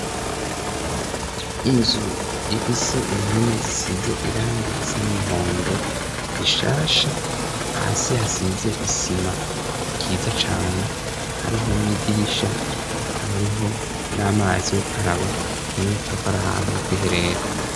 inzu ifise impome zisize irangi risa n'umuhondo zishasha hasi hasize isima ryiza cane hariho n'idirisha habariho n'amazi yogukaraba uboneka ko ari ahantu ho kwiherera